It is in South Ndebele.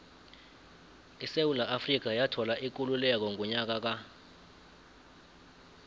isewula afrika yathola ikululeko ngonyaka ka